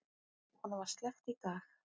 Honum var sleppt í dag.